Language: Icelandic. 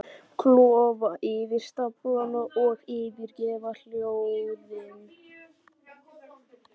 Klofa yfir staflana og yfirgefa óhljóðin.